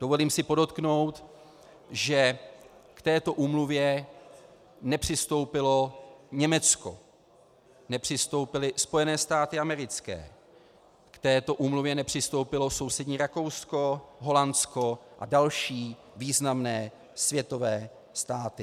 Dovolím si podotknout, že k této úmluvě nepřistoupilo Německo, nepřistoupily Spojené státy americké, k této úmluvě nepřistoupilo sousední Rakousko, Holandsko a další významné světové státy.